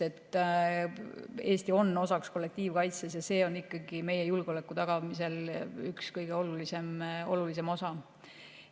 Eesti on osaks kollektiivkaitses ja see on meie julgeoleku tagamisel üks kõige olulisem osa.